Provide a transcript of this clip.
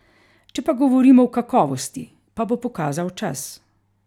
Če pa govorimo o kakovosti, pa bo pokazal čas.